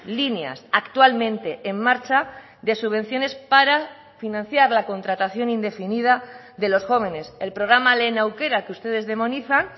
líneas actualmente en marcha de subvenciones para financiar la contratación indefinida de los jóvenes el programa lehen aukera que ustedes demonizan